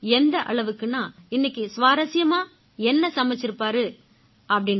எந்த அளவுக்குன்னா இன்னைக்கு சுவாரசியமா என்ன சமைச்சிருப்பாங்க அப்படீன்னு